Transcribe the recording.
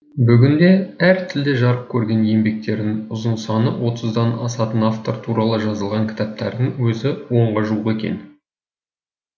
бүгінде әр тілде жарық көрген еңбектерінің ұзын саны отыздан асатын автор туралы жазылған кітаптардың өзі онға жуық екен